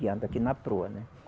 E anda aqui na proa, né?